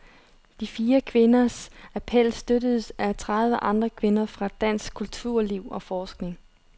De fire kvinders appel støttes af tredive andre kvinder fra dansk kulturliv og forskning.